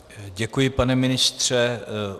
Děkuji, pane ministře.